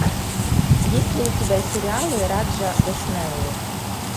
есть ли у тебя сериалы раджа госнеллы